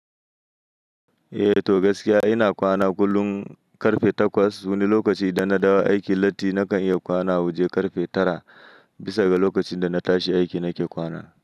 Eh to gaskiya ina kwana kullum ƙarfe takwas. Wani lokaci idan na dawo aiki latti nakan iya kwana a waje ƙarfe tara. Bisa ga lokacin da na tashi aiki nake kwana.